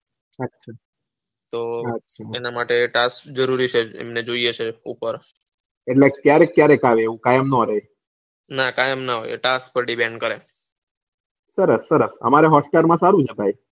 તો એના માટે task જરૂરી છે એમને જોઈએ છે એટલે ક્યારેક ક્યારેક આવે કાયમ ના આવે. ના કાયમ ના આવે task પતિ જાય સરસ સરસ અમરે hotstar માં સારું છે ભાઈ.